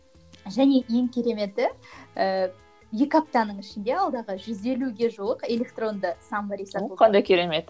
және ең кереметі ііі екі аптаның ішінде алдағы жүз елуге жуық электронды саммари сатылды о қандай керемет